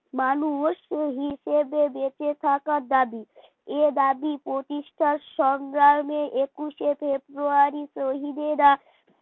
মানুষ হিসাবে বেঁচে থাকার দাবি এ দাবি প্রতিষ্ঠা সংগ্রামে একুশে ফেব্রুয়ারি শহীদেরা